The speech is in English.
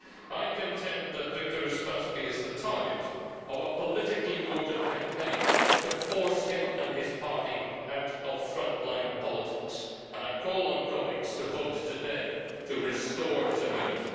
I contend that Viktor Uspaskich is the target of a politically motivated campaign to force him and his party out of frontline politics and I call on colleagues to vote today to restore his immunity.